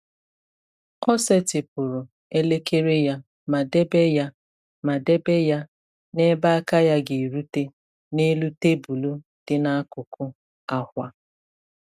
Ọ setịpụrụ elekere ya ma debe ya ma debe ya n’ebe aka ya ga-erute n’elu tebụl dị n’akụkụ akwa.